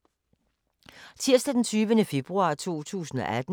Tirsdag d. 20. februar 2018